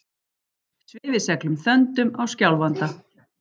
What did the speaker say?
Svifið seglum þöndum á Skjálfanda